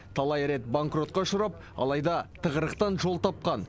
талай рет банкротқа ұшырап алайда тығырықтан жол тапқан